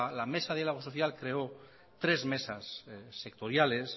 la mesa de diálogo social creó tres mesas sectoriales